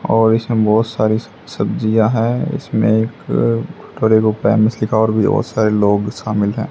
और इसमें बहोत सारी सब्जियां है इसमें एक और भी बहोत सारे लोग शामिल हैं।